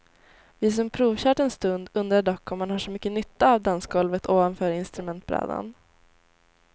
Vi som provkört en stund undrar dock om man har så mycket nytta av dansgolvet ovanför instrumentbrädan.